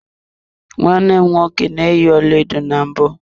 Nwanne m nwoke na-eyi ọlaedo na mbụ.